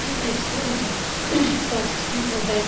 ইটা school বটে sir পড়া-য়।